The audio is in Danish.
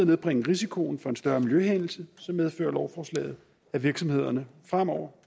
nedbringe risikoen for en større miljøhændelse medfører lovforslaget at virksomhederne fremover